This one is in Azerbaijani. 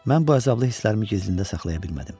Mən bu əzablı hisslərimi gizlində saxlaya bilmədim.